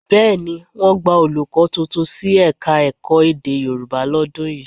Bẹ́ẹ̀ ni, wọ́n gba olùkọ́ tuntun sí Ẹ̀ka-ẹ̀kọ́ èdè Yorùbá lọ́dún yìí